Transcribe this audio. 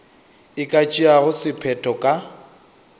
e ka tšeago sephetho ka